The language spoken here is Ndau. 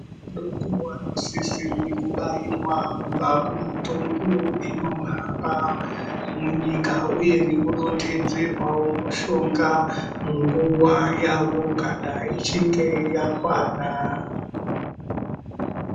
Vadoko vanosisire kubairwa kubva kumutongo inohamba munyika uye nekudontedzerwawo mushonga munguwa yavo kana yechinge yakwana.